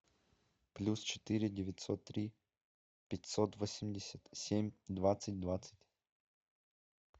плюс четыре девятьсот три пятьсот восемьдесят семь двадцать двадцать